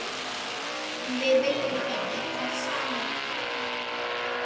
Við viljum öll það sama.